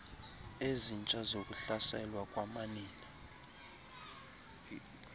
ezintsha zokuhlaselwa kwamanina